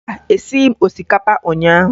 Mba, esighi m osikapa ụnyaahụ